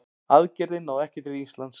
Aðgerðin náði ekki til Íslands.